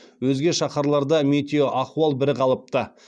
өзге шаһарларда метеоахуал бірқалыпты